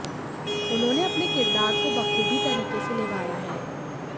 उन्होंने अपने किरदार को बखूबी तरीके से निभाया है